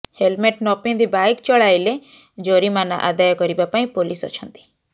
helmet ନପିନ୍ଧି bike ଚଳାଇଲେ ଜରିମାନା ଆଦାୟ କରିବା ପାଇଁ ପୋଲିସ ଅଛନ୍ତି